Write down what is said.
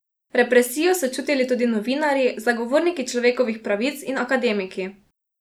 Represijo so čutili tudi novinarji, zagovorniki človekovih pravic in akademiki.